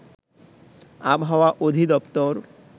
আবহাওয়া অধিদপ্তর